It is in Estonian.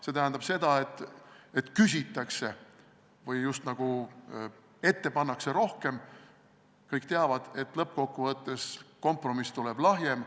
See tähendab seda, et ette pannakse rohkem ja kõik teavad, et lõppkokkuvõttes kompromiss tuleb lahjem.